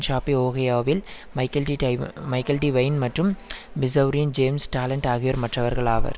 ஷாபீ ஓகையாவில் Michael DeWine Michael DeWine மற்றும் மிசெளரியின் ஜேம்ஸ் டாலன்ட் ஆகியோர் மற்றவர்கள் ஆவர்